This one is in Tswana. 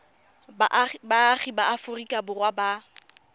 baagi ba aforika borwa ba